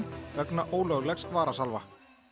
vegna ólöglegs varasalva